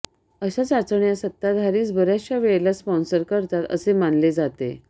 अशा चाचण्या सत्ताधारीच बऱयाच वेळेला स्पॉन्सर करतात असे मानले जाते